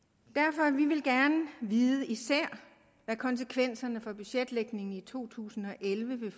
vi vil især gerne vide hvad konsekvenserne for budgetlægningen i to tusind og elleve vil